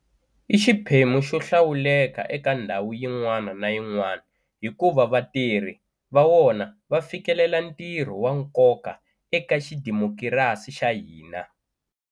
I xiphemu xo hlawuleka eka ndhawu yin'wana na yin'wana hikuva vatirhi va wona va fikelela ntirho wa nkoka eka xidimokirasi xa hina.